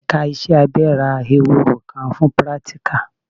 Ẹ̀ka iṣẹ́ abẹ ra Ehoro kan fún pírátíkà.